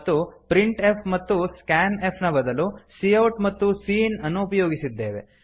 ಮತ್ತು printf ಮತ್ತು scanf ನ ಬದಲು ಸಿಔಟ್ ಮತ್ತು ಸಿಇನ್ ಅನ್ನು ಉಪಯೋಗಿಸಿದ್ದೇವೆ